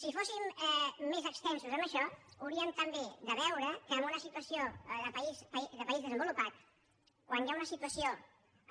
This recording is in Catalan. si fóssim més extensos en això hauríem també de veure que en una situació de país desenvolupat quan hi ha una situació